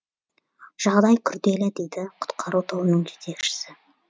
жағдай күрделі дейді құтқару тобының жетекшісі